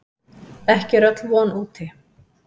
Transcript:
Ekki er öll von úti.